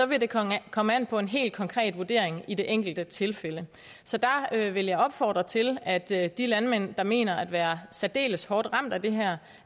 vil det komme komme an på en helt konkret vurdering i det enkelte tilfælde så der vil jeg opfordre til at de at de landmænd der mener at være særdeles hårdt ramt af det her